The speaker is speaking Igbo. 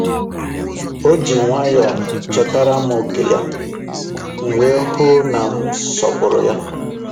O ji nwayọọ chetara m ókè ya, m wee hụ na m sọpụrụ ha.